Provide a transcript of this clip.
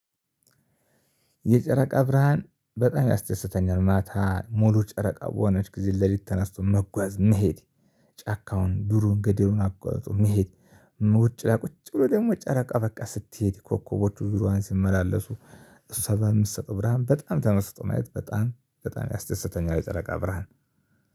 የጨረቃ ብርሃን በጣም ያስደስተኛል። ማታ ሙሉ ጨረቃ በሆነች ጊዜ ሌሊት ተነስቶ መጓዝ መሄድ ጫካውን ዱሩን ገደሉን አቋርጦ መሄድ። ውጭ ላይ ቁጭ ብሎ ደግሞ ጨረቃ በቃ ስትሄድ ኮከቦቹ ዙሬዋን ሲመላለሱ እሷጋ የምትሰጠው ብርሃን በጣም ተመስጦ ማየት በጣም በጣም ያስደሰተኛል። የጨረቃ ብርሃን